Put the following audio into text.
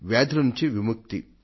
వ్యాధుల నుండి విముక్తి